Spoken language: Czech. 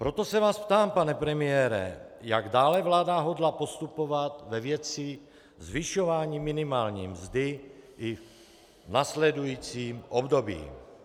Proto se vás ptám, pane premiére, jak dále vláda hodlá postupovat ve věci zvyšování minimální mzdy i v následujícím období.